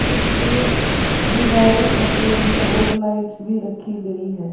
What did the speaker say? इसके दीवारें सफेद है और लाइट्स भी रखी है।